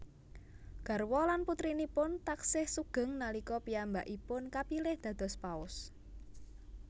Garwa lan putrinipun taksih sugeng nalika piyambakpipun kapilih dados Paus